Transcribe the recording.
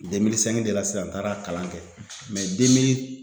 de la sisan n taara kalan kɛ demii